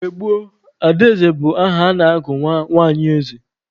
Mgbe gboo, Adaeze bụ aha a na-agụ nwa nwanyi eze.